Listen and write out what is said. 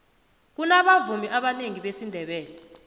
kunabavumi abanengi besindebele